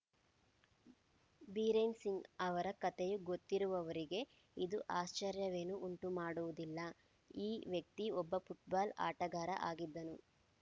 ಬಿರೇನ್‌ ಸಿಂಗ್‌ ಅವರ ಕತೆಯು ಗೊತ್ತಿರುವವರಿಗೆ ಇದು ಆಶ್ಚರ್ಯವನ್ನೇನೂ ಉಂಟುಮಾಡುವುದಿಲ್ಲ ಈ ವ್ಯಕ್ತಿ ಒಬ್ಬ ಫುಟ್‌ಬಾಲ್‌ ಆಟಗಾರ ಆಗಿದ್ದರು